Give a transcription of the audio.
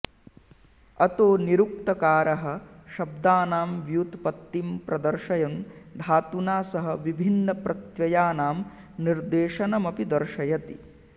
अतो निरुक्तकारः शब्दानां व्युत्पत्तिं प्रदर्शयन् धातुना सह विभिन्नप्रत्ययानां निर्देशमपि दर्शयति